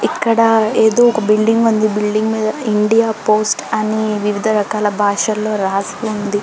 ఇక్కడ ఎదో ఒక్క బిల్డింగ్ ఉంది బిల్డింగ్ మీద ఇండియా పోస్ట్ అని వివిధ రకాల భాషలో రాసివుంది